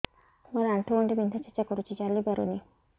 ମୋର ଆଣ୍ଠୁ ଗଣ୍ଠି ବିନ୍ଧା ଛେଚା କରୁଛି ଚାଲି ପାରୁନି